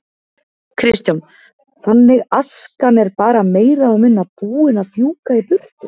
Kristján: Þannig askan er bara meira og minna búin að fjúka í burtu?